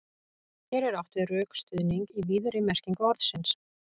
Hér er átt við rökstuðning í víðri merkingu orðsins.